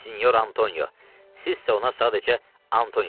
Sinyor Antonio, sizsə ona sadəcə Antonio deyin.